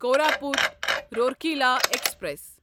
Koraput Rourkela express